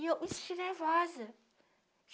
E eu me senti nervosa.